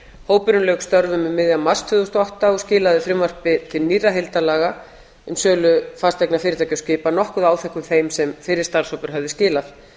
hópurinn lauk störfum um miðjan mars tvö þúsund og átta og skilaði frumvarpi til nýrra heildarlaga um sölu fasteigna fyrirtækja og skipa nokkuð áþekkum þeim sem fyrri starfshópur hafði skilað